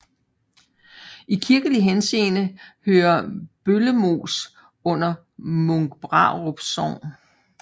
I kirkelig henseende hører Bøllemoos under Munkbrarup Sogn